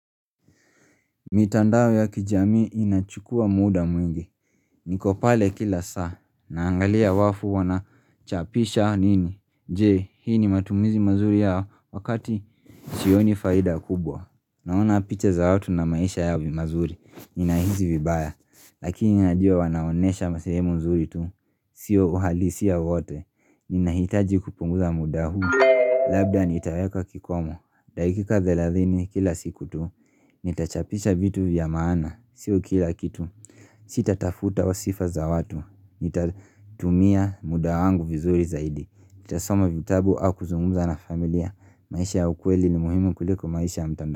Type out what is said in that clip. Mitandao ya kijami inachukua muda mwingi, niko pale kila saa, naangalia watu wanachapisha nini, jee hii ni matumizi mazuri ya wakati Sioni faida kubwa, naona picha za watu na maisha yao mazuri, ninahisi vibaya, lakini najuo wanaonesha sehemu mzuri tu, sio uhalisia wote, ninahitaji kupunguza muda huu labda nitaweka kikomo, dakika thelathini kila siku tu, nitachapisha vitu vya maana sio kila kitu sitatafuta sifa za watu nitatumia muda wangu vizuri zaidi, nitasoma vitabu au kuzungumza na familia maisha ya ukweli no muhimu kuliko maisha ya mtandao.